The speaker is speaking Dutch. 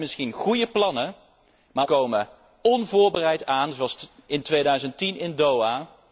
Wij hebben misschien goede plannen, maar wij komen onvoorbereid aan, zoals in 2010 in Doha.